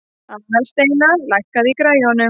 Aðalsteina, lækkaðu í græjunum.